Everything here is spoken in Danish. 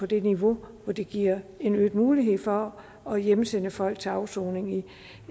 det niveau hvor det giver en øget mulighed for at hjemsende folk til afsoning i